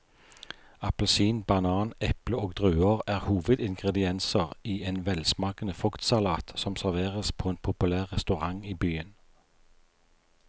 Appelsin, banan, eple og druer er hovedingredienser i en velsmakende fruktsalat som serveres på en populær restaurant i byen.